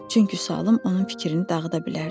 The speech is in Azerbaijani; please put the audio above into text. Çünki sualım onun fikrini dağıda bilərdi.